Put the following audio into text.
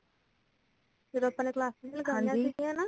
ਜਦੋ ਆਪਾ ਨੇ classes ਨੀ ਲਗਾਇਆਂ ਸੀਗਿਆ